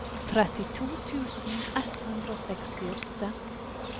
trettito tusen ett hundre og sekstiåtte